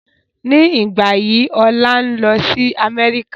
Ní ìgbà yí ọ̀la ń o lọ sí Amẹ́ríkà